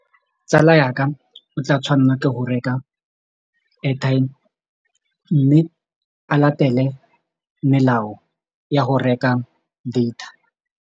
Tsala ya ka o tla tshwanela ke go reka airtime mme a latele melao ya go reka data.